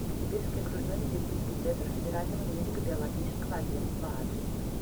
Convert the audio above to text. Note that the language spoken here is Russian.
сибирский окружной медицинский центр федерального медико биологического агентства адрес